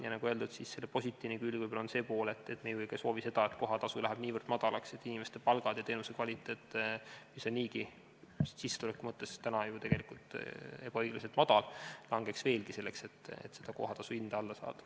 Ja nagu öeldud, selle positiivne külg võib-olla on see pool, et me ei soovi ka seda, et kohatasu läheb niivõrd madalaks, et inimeste palgad ja teenuse kvaliteet, mis on niigi sissetuleku mõttes ju tegelikult ebaõiglaselt madal, langeks veelgi, selleks et kohatasu hinda alla saada.